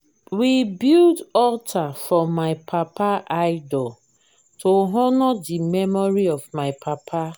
we build alter for my papa idol to honour the memory of my papa